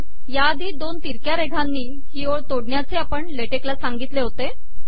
या आधी दोन तिरक्या रेघांनी ही ओळ तोडण्याचे आपण ला टेक ला सांगितले होते